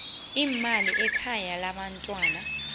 leemali lekhaya labantwana